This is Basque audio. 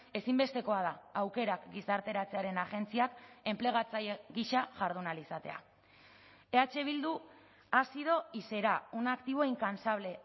ezinbestekoa da aukerak gizarteratzearen agentziak enplegatzaile gisa jardun ahal izatea eh bildu ha sido y será un activo incansable